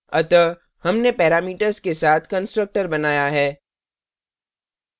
अतः हमने parameters के साथ constructor बनाया है